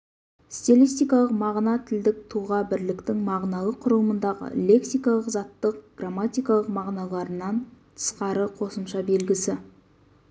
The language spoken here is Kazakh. стилистикалық мағына тілдік тұлға-бірліктің мағыналық құрылымындағы лексикалық заттық грамматикалық мағыналарынан тысқары қосымша белгісі